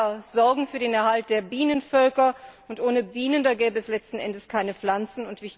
Die Imker sorgen für den Erhalt der Bienenvölker, und ohne Bienen gäbe es letzten Endes keine Pflanzen.